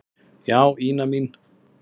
Já, Ína mín.